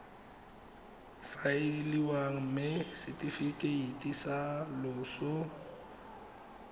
faeliwa mme setefikeiti sa loso